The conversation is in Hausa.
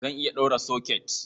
Zan iya ɗaura soket.